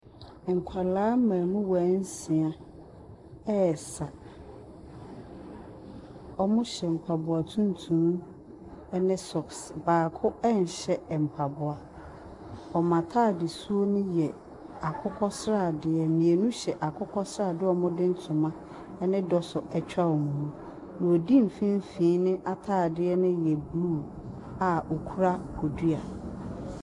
Nkwaraa mmamuwaa nsia resa. Wɔhyɛ mbaboa tuntum ne socks. Baako nhyɛ mpaboa. Wɔn ataadesu no yɛ akokɔsradeɛ. Mmienu hyɛ akokɔsradeɛ a wɔde ntoma ne dɔsɔ atwa wɔn mu. Nea odi mfinfin ataadeɛ no yɛ blue a okura bodua.